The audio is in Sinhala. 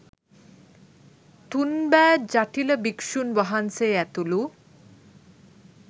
තුන් බෑ ජටිල භික්ෂූන් වහන්සේ ඇතුළු